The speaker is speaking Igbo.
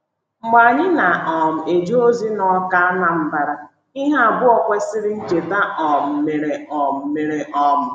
Mgbe anyị na - um eje ozi na Awka, Anambra, ihe abụọ kwesịrị ncheta um mere um mere. um